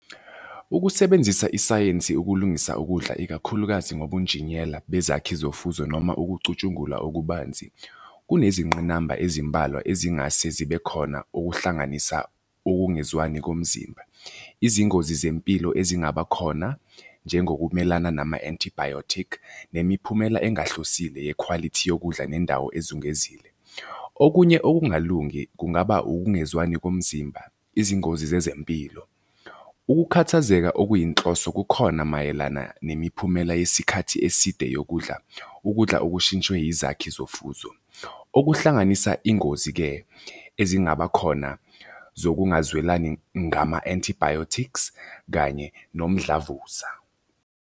Ukusebenzisa isayensi ukulungisa ukudla ikakhulukazi ngobubunjiniyela bezakhi zofuzo noma ukucutshungulwa okubanzi, kunezingqinamba ezimbalwa ezingase zibe khona okuhlanganisa ukungezwani komzimba. Izingozi zempilo ezingaba khona njengokumelana nama-antibiotic nemiphumela engahlosile yekhwalithi yokudla nendawo ezungezile. Okunye okungalungi kungaba ukungezwani komzimba, izingozi zezempilo. Ukukhathazeka okuyinhloso kukhona mayelana nemiphumela yesikhathi eside yokudla ukudla okushintshwe izakhi zofuzo. Okuhlanganisa iy'ngozi-ke ezingaba khona zokungazwelani ngama-antibiotics kanye nomdlavuza.